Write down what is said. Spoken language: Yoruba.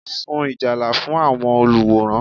Sun Ìjálá fún àwọn olùwòran